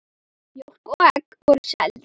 Mjólk og egg voru seld.